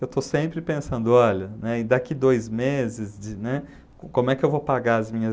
eu estou sempre pensando, olha, né, daqui dois meses de, né, co como é que eu vou pagar as minhas...